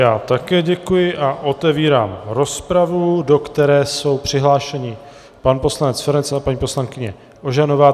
Já také děkuji a otevírám rozpravu, do které jsou přihlášeni pan poslanec Feranec a paní poslankyně Ožanová.